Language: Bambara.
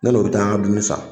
Ne n'o bɛ taa an ka dumuni san.